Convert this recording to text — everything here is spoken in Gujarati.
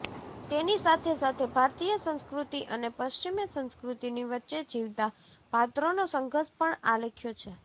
તેની સાથે સાથે ભારતીય સંસ્કૃતિ અને પશ્ચિમી સંસ્કૃતિની વચ્ચે જીવતા પાત્રોનો સંઘર્ષ પણ આલેખ્યો છે